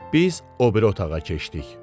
Biz o biri otağa keçdik.